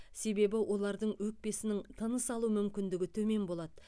себебі олардың өкпесінің тыныс алу мүмкіндігі төмен болады